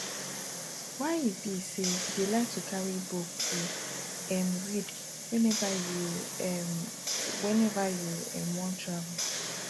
why e be say you dey like to carry book to um read whenever you um whenever you um wan travel